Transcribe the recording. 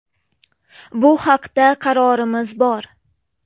Bu haqda qarorimiz bor.